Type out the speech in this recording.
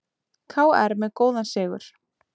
KR með góðan sigur